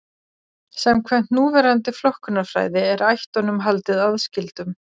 Samkvæmt núverandi flokkunarfræði er ættunum haldið aðskildum.